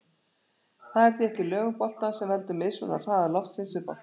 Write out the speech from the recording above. Það er því ekki lögun boltans sem veldur mismun á hraða loftsins við boltann.